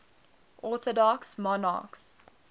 orthodox monarchs